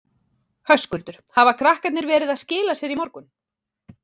Höskuldur: Hafa krakkarnir verið að skila sér í morgun?